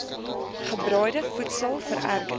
gebraaide voedsel vererger